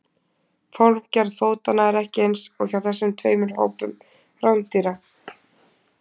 Formgerð fótanna er ekki eins hjá þessum tveimur hópum rándýra.